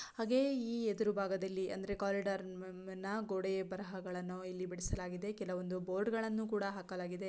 ಹಾಗೆ ಈ ಎದುರು ಭಾಗದಲ್ಲಿ ಅಂದರೆ ಕಾರಿಡಾರ್ ನ ಗೋಡೆಯ ಬರಹಗಳನ್ನು ಇಲ್ಲಿ ಬಿಡಿಸಲಾಗಿದೆ ಕೆಲವೊಂದು ಬೋರ್ಡ್ ಗಳನ್ನು ಕೂಡ ಹಾಕಲಾಗಿದೆ.